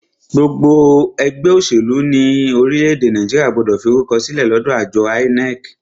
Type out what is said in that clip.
Gbogbo ẹgbẹ́ òṣèlú ní orílẹ̀-èdè Nàìjíríà gbọ́dọ̀ fi orúkọ sílẹ̀ lọ́dọ àjọ INEC.